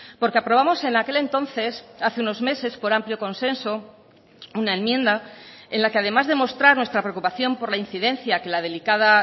porque aprobamos en aquel entonces hace unos meses por amplio consenso una enmienda en la que además de mostrar nuestra preocupación por la incidencia que la delicada